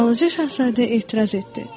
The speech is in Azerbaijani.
Balaca Şahzadə etiraz etdi.